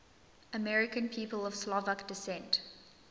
american people of slovak descent